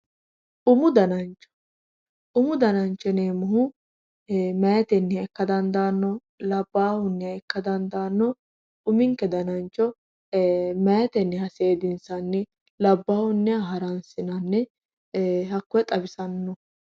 Umu danancho, umu danancho yinneemmohu maayiteniha ikka dandaano labbahunniha ikka dandaano, uminke danancho maayiteniha seedinsanni labbahunniha haransinanni e"e hakkoe xawisano.